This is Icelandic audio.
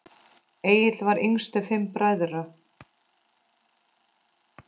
Egill var yngstur fimm bræðra.